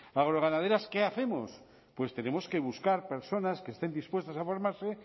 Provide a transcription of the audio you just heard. agroganaderas qué hacemos pues tenemos que buscar personas que estén dispuestas a formarse